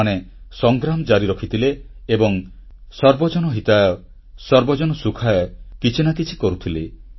ସେମାନେ ସଂଗ୍ରାମ ଜାରି ରଖିଥିଲେ ଏବଂ ସର୍ବଜନହିତାୟ ଓ ସର୍ବଜନସୁଖାୟ ମାର୍ଗରେ କିଛି ନା କିଛି କରୁଥିଲେ